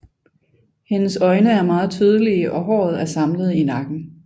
Hendes øjne er meget tydelige og håret er samlet i nakken